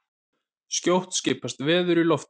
Skjótt skipast veður í loft.